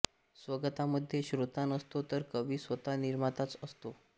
स्वगतामध्ये श्रोता नसतो तर कवी स्वतः निर्माताच असतो